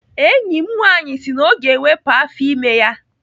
Enyi m nwaanyị si na ọ ga-ewepụ afọ ime ya.